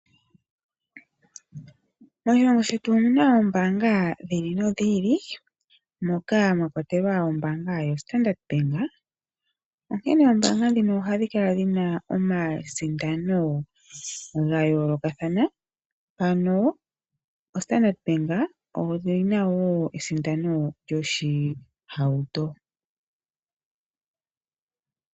Moshilongo shetu omu na oombaanga dhi ili nodhi ili, moka mwa kwatelwa ombaanga yoStandard Bank. Oombaanga ndhino ohadhi kala dhi na omasindano ga yoolokathana. Mpano oStandard Bank oyi na wo esindano lyoshihauto.